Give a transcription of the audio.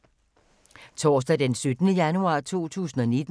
Torsdag d. 17. januar 2019